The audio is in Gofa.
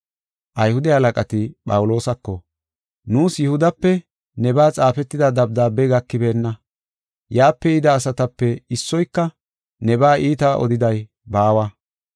Ayhude halaqati Phawuloosako, “Nuus Yihudape nebaa xaafetida dabdaabey gakibeenna. Yaape yida asatape issoyka nebaa iita odiday baawa.